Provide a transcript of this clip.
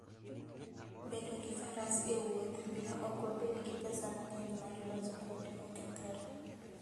Bedo gi faras e wuoth miyo ok wabed gi pesa mang'eny mar loso kuonde mokethore.